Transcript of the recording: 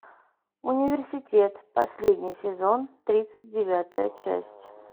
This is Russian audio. университет последний сезон тридцать девятая часть